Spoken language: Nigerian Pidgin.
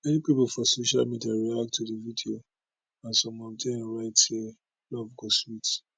many pipo for social media react to di video and some of dem write say love go sweet